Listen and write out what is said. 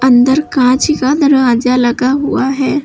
इधर कांच का दरवाजा लगा हुआ है।